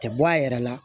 Tɛ bɔ a yɛrɛ la